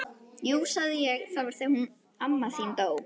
Jú sagði ég, það var þegar hún amma þín dó